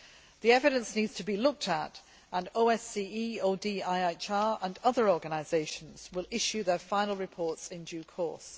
The evidence needs to be looked at, and OSCE ODIHR and other organisations will issue their final reports in due course.